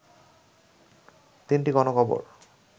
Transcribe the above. তিনটি গণকবর